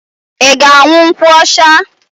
Ị ga-aṅụ nkwụ ọcha?